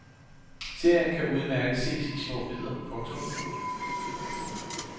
Serien kan udmærket ses i små bidder. punktum